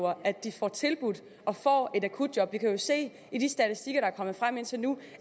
at de får tilbudt og får et akutjob vi kan jo se i de statistikker der er kommet frem indtil nu